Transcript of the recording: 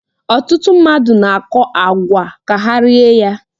Ọtụtụ mmadụ na-akọ àgwà ka ha rie ya